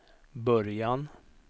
början